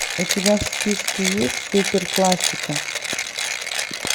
у тебя в списке есть супер классика